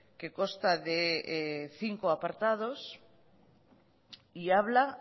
que consta de cinco apartados y habla